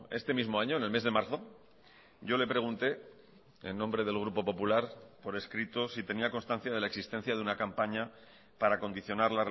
este mismo año en el mes de marzo yo le pregunté en nombre del grupo popular por escrito si tenía constancia de la existencia de una campaña para condicionar